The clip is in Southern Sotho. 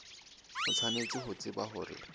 o tshwanetse ho tseba hore